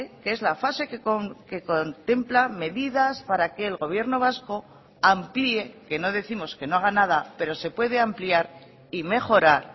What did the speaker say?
que es la fase que contempla medidas para que el gobierno vasco amplíe que no décimos que no haga nada pero se puede ampliar y mejorar